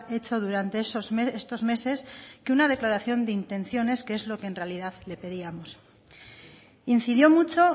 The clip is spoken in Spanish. hecho durante estos meses que una declaración de intenciones que es lo que en realidad le pedíamos incidió mucho